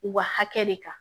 U ka hakɛ de kan